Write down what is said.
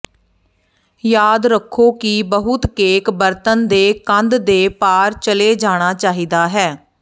ਯਾਦ ਰੱਖੋ ਕਿ ਬਹੁਤ ਕੇਕ ਬਰਤਨ ਦੇ ਕੰਧ ਦੇ ਪਾਰ ਚਲੇ ਜਾਣਾ ਚਾਹੀਦਾ ਹੈ